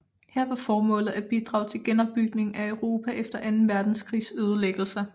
Her var formålet at bidrage til genopbygningen af Europa efter anden verdenskrigs ødelæggelser